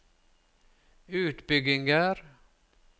utbygginger